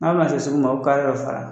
N'a bi na se sugu ma a be kare dɔ fara